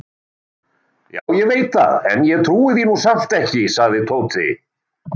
Já, ég veit það en ég trúi því nú samt ekki sagði Tóti.